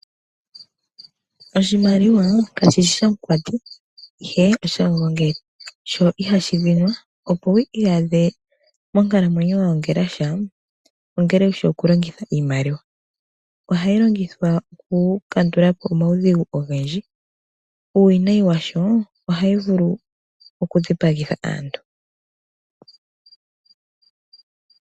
Oshimaliwa kashishi shamukwati ihe oshamugongeli sho ihashi dhinwa. Opo wi iyadhe monkalamwenyo wagongela sha, ongele wushi okulongitha iimaliwa. Ohayi longithwa oku kandulapo omaudhigu ogendji uuwinayi washoo ohayi vulu okudhipagitha aantu.